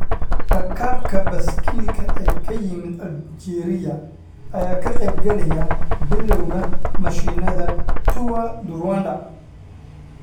Rakaabka baaskiilka ee ka yimid Aljeeriya ayaa ka qeyb galaya bilowga mashiinada Tour du Rwanda.